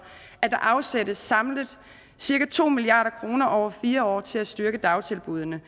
at der afsættes samlet cirka to milliard kroner over fire år til at styrke dagtilbuddene